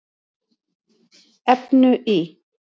efnu í